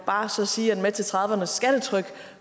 bare sige at med til trediverne s skattetryk